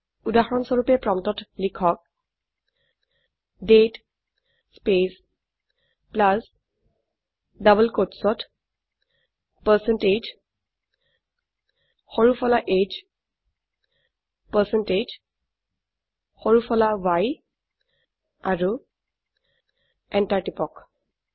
উদাহৰনস্বৰুপে প্ৰম্পটত লিখক দাঁতে স্পেচ প্লাছ ডবল কোট্চত পাৰচেণ্টেজ সৰু ফলা h পাৰচেণ্টেজ সৰু ফলা y আৰু এন্টাৰ টিপক